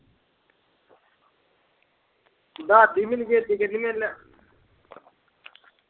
ਦੱਸ ਦੀ ਮੈਨੂੰ ਛੇਤੀ ਕਹਿੰਦੀ ਫੇਰ ਮੈਂ